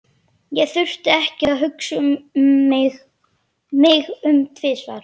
Ég þurfti ekki að hugsa mig um tvisvar.